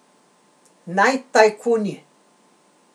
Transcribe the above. Naj tajkuni.